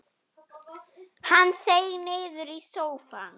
Hann seig niður í sófann.